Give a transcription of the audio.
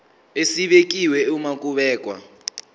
esibekiwe uma kubhekwa